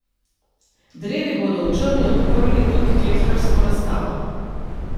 Drevi bodo v Črni odprli tudi klekljarsko razstavo.